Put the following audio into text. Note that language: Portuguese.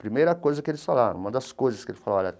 Primeira coisa que eles falaram, uma das coisas que eles falaram.